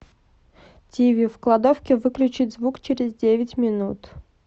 тиви в кладовке выключить звук через девять минут